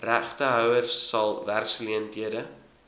regtehouers sal werksgeleenthede